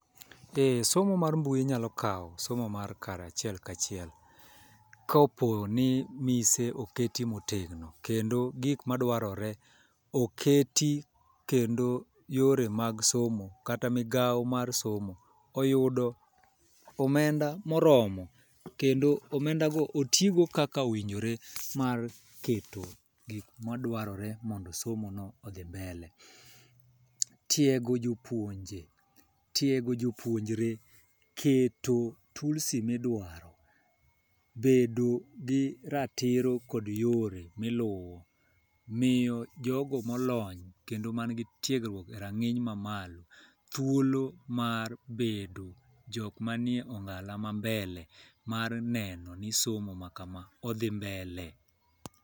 E somo mar mbui nyalo kaw somo mar achiel kachiel kapo ni mise oket motegno kendo gik madwarore oketi kendo yore mag somo kata migawo mar somo oyudo omenda moromo kendo omenda go otigo kaka owinjore mar keto gi madwarore mondo somo no odhi mbele . Tiego jopuonje ,tiego joopuonjre keto tulsi midwaro bedo gi ratiro kod yore miluwo, miyo jogo molony kendo man gi tiegruok e rang'iny mamalo thuolo mar bedo jok mani e ong'ala ma mbele mar neno ni somo ma kama odhi mbele .